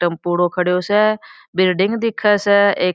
टपुड़ो खड़ो स बिल्डिंग दिखे स एक --